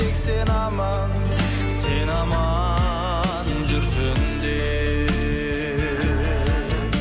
тек сен аман сен аман жүрсін деп